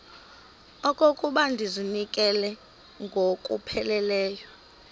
okokuba ndizinikele ngokupheleleyo